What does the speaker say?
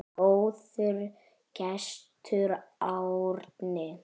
Góður gestur, Árni.